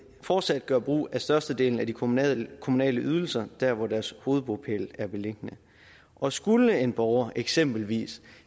fortsat gøre brug af størstedelen af de kommunale kommunale ydelser der hvor deres hovedbopæl er beliggende og skulle en borger eksempelvis